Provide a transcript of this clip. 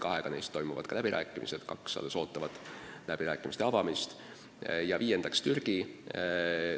Kahega neist toimuvad ka läbirääkimised, kaks alles ootavad kõneluste alustamist, ja viies on Türgi.